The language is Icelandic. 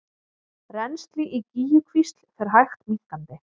Rennsli í Gígjukvísl fer hægt minnkandi